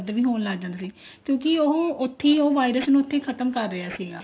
ਵੀ ਹੋਣ ਲੱਗ ਜਾਂਦਾ ਸੀ ਕਿਉਂਕਿ ਇਹ ਉੱਥੇ ਉਹ virus ਨੂੰ ਉੱਥੇ ਹੀ ਖਤਮ ਕਰ ਰਿਹਾ ਸੀਗਾ